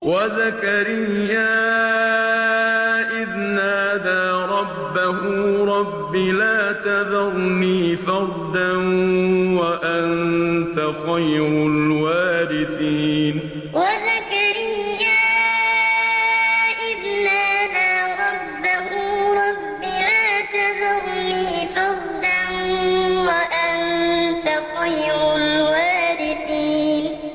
وَزَكَرِيَّا إِذْ نَادَىٰ رَبَّهُ رَبِّ لَا تَذَرْنِي فَرْدًا وَأَنتَ خَيْرُ الْوَارِثِينَ وَزَكَرِيَّا إِذْ نَادَىٰ رَبَّهُ رَبِّ لَا تَذَرْنِي فَرْدًا وَأَنتَ خَيْرُ الْوَارِثِينَ